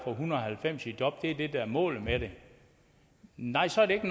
en hundrede og halvfems i job at det er det der er målet med det nej så er det ikke